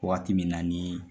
Waati min na ni .